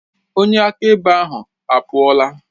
Onye akaebe ahụ apụọla.